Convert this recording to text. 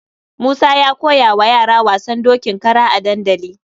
Musa ya koya wa yara wasan dokin kara a dandali.